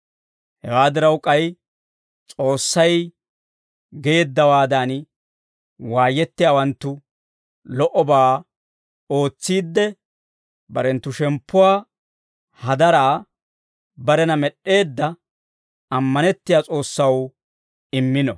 Hewaa diraw k'ay, S'oossay geeddawaadan waayettiyaawanttu lo"obaa ootsiidde, barenttu shemppuwaa hadaraa barena med'd'eedda ammanettiyaa S'oossaw immino.